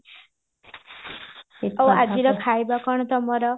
ଆଉ ଆଜିର ଖାଇବା କଣ ତମର